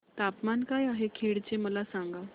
तापमान काय आहे खेड चे मला सांगा